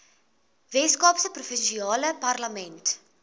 weskaapse provinsiale parlement